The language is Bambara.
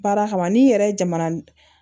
Baara kama n'i yɛrɛ jamana